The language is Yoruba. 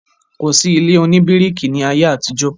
kò sí ilé òní bíríkì ní ayé àtijọ́.